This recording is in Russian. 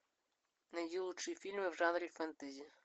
найди лучшие фильмы в жанре фэнтези